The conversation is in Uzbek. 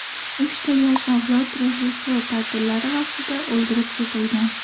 Uchta yosh ayol Rojdestvo ta’tillari vaqtida o‘ldirib ketilgan.